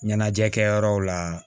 Ɲɛnajɛ kɛ yɔrɔw la